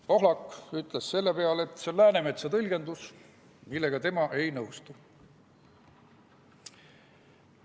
Pohlak ütles selle peale, et see on Läänemetsa tõlgendus, millega tema ei nõustu.